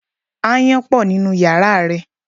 Ááyán pọ̀ nínú yàrá rẹ.